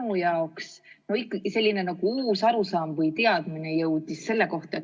Minu jaoks on ikkagi tegu nagu uue arusaama või teadmisega selle kõige kohta.